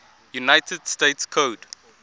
united states code